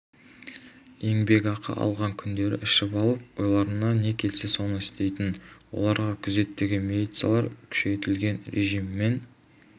еңбекақы алған күндері ішіп алып ойларына не келсе соны істейтін оларға күзеттегі милициялар күшейтілген режіммен